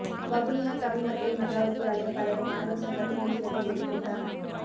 வவுனியா தமிழ் மத்திய மகாவித்தியாலய பழைய மாணவர் சங்கத்தின் விசேட பொதுக்கூட்டம்